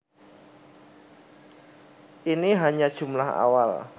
Ini hanya jumlah awal